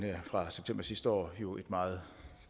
fra september sidste år jo et meget